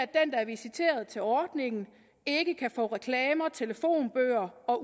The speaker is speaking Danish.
der er visiteret til ordningen ikke kan få reklamer telefonbøger og